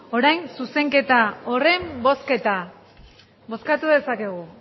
orain zuzenketa horren bozketa bozkatu dezakegu